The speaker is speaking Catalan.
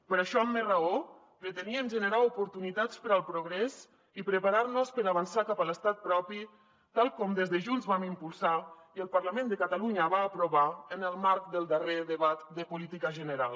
per això amb més raó preteníem generar oportunitats per al progrés i preparar nos per avançar cap a l’estat propi tal com des de junts vam impulsar i el parlament de catalunya va aprovar en el marc del darrer debat de política general